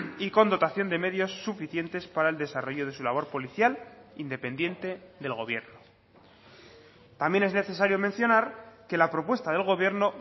y con dotación de medios suficientes para el desarrollo de su labor policial independiente del gobierno también es necesario mencionar que la propuesta del gobierno